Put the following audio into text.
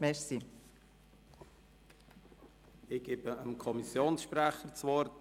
Ich erteile dem Kommissionssprecher das Wort.